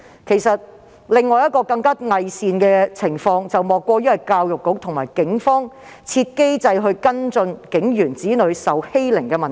其實，另一種更偽善的情況是教育局與警方設立機制跟進警員子女受欺凌的問題。